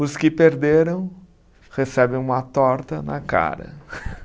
Os que perderam recebem uma torta na cara.